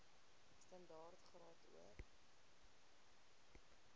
standaard graad or